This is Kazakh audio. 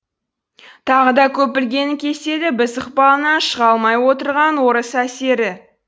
тағы да көп білгеннің кеселі біз ықпалынан шыға алмай отырған орыс әсері